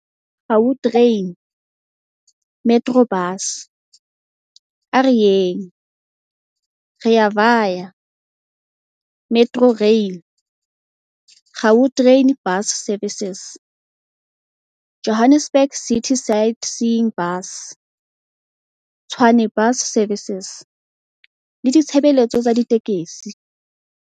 Gautrain, Metrobus, A Re Yeng, Rea Vaya, Metrorail, Gau train Bus Services, Johannesburg City Sightseeing Bus, Tshwane Bus Services le ditshebeletso tsa ditekesi.